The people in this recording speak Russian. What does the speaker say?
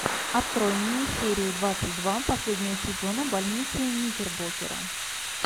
открой мне серию двадцать два последнего сезона больницы никербокера